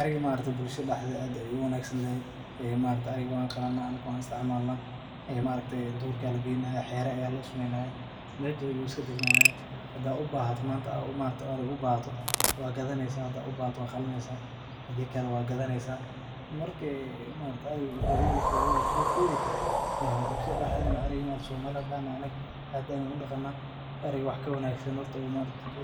Idaha waa xoolo aad loo dhaqdo guud ahaan caalamka, gaar ahaan goobaha qaaliga ah sida degaannada koonfurta, waana noolayaal aan lahayn wax xoogaa adag oo ay ku noolaadaan beeraha iyo dooxooyinka, waxayna leeyihiin dhaqan aad u wanaagsan oo ay ku noolaadaan bulshooyinka qaaradda Afrika iyo Aasiya, iduhu waxay ka mid yihiin xoolaha ugu muhiimsan ee loo isticmaalo nolol maalmeedka qofka, waxayna bixiyaan noocyo kala duwan oo khayraadka sida hilibka, caanaha, suufka, iyo maqaarka, waxayna noqon karaan qayb muhiim ah oo dhaqaale ku xidhan xoolaha dhaqashada iyo ganacsiga, idaha waxaa lagu tilmaamaa inay